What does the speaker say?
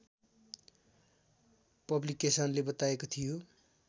पब्लिकेसनले बताएको थियो